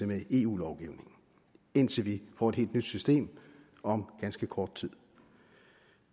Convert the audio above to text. med eu lovgivningen indtil vi får et helt nyt system om ganske kort tid